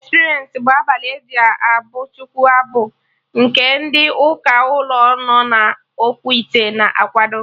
Experience bụ abalị eji abụ Chukwu abụ nke ndị ụka ụlọ no na Okwute na akwado